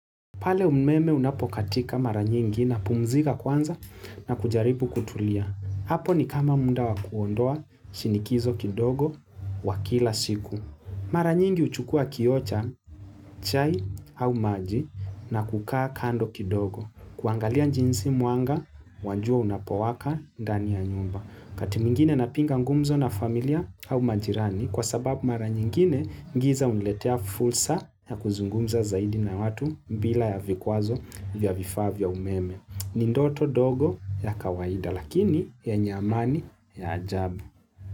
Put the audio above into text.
Pale umeme unapokatika mara nyingi napumzika kwanza na kujaribu kutulia. Hapo ni kama muda wa kuondoa shinikizo kidogo wa kila siku. Mara nyingi huchukua kioo cha chai au maji na kukaa kando kidogo. Kuangalia jinsi mwanga, wa jua unapowaka ndani ya nyumba. Wakati mwingine napinga ngumzo na familia au majirani kwa sababu mara nyingine ngiza uniletea fursa ya kuzungumza zaidi na watu bila ya vikwazo vya vifaa vya umeme. Ni ndoto dogo la kawaida lakini yenye amani ya ajabu.